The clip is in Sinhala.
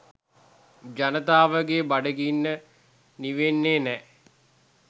ජනතාවගේ බඩගින්න නිවෙන්නේ නෑ.